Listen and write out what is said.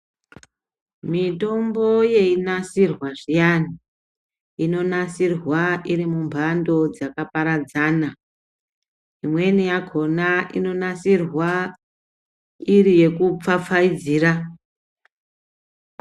Mitombo yei nasirwa zviyani ino nasirwa iri mu mbando dzaka paradzana imweni yakona ino nasirwa iri yeku pfapfaidzira.